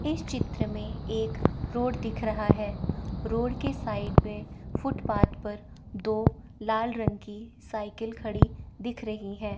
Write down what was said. इस चित्र में एक रोड दिख रहा है रोड के साइड में फुटपाथ पर दो लाल रंग की साइकिल खड़ी दिख रही हैं।